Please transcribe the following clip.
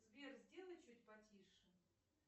сбер сделай чуть потише